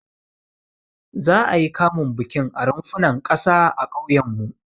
Za'a yi kamun bikin a runfunan ƙasa a ƙauyenmu.